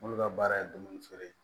Olu ka baara ye dumuni feere ye